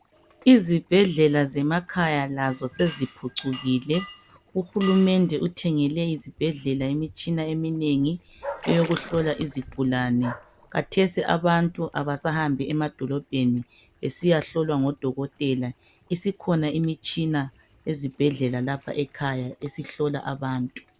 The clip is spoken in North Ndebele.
Izibhedlela zemakhaya lazo seziphucukile. Uhulumende uthengele izibhedlela imitshina eminengi eyokuhlola izigulane. Khathesi abantu abasahambi emadolobheni besiyahlolwa ngodokotela isikhona imitshina ezibhedlela lapha ekhaya esihlola abantu.